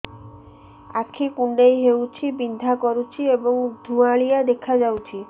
ଆଖି କୁଂଡେଇ ହେଉଛି ବିଂଧା କରୁଛି ଏବଂ ଧୁଁଆଳିଆ ଦେଖାଯାଉଛି